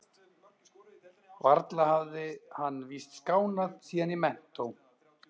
Varla hafði hann víst skánað síðan í menntó.